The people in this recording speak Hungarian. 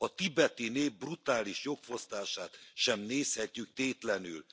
A tibeti nép brutális jogfosztását sem nézhetjük tétlenül.